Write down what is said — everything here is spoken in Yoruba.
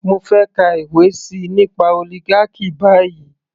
Mo fẹ́ kà ìwé síi nípa oligarchy báyìí.